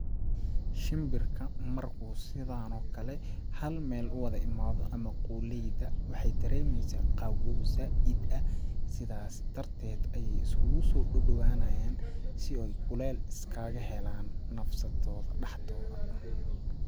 Shinbirka markuu sidaan oo kale hal meel u wada imaado ama qolleyda ,waxeey daremeysaa qawoow zaaid ah ,sidaasi darteed ayeey iskugusoo dhadhawanayaan si ooy kuleel iskaga helaan nafsadooda dhaxdooda.